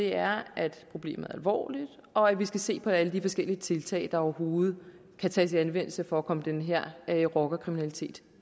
er at problemet er alvorligt og at vi skal se på alle de forskellige tiltag der overhovedet kan tages i anvendelse for at komme den her her rockerkriminalitet